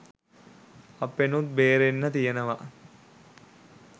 අපෙනුත් බේරෙන්න තියනවා.